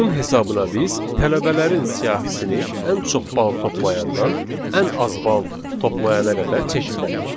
Bunun hesabına biz tələbələrin siyahisini ən çox bal toplayandan ən az bal toplayana qədər çeşidlədik.